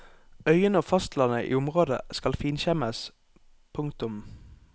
Øyene og fastlandet i området skal finkjemmes. punktum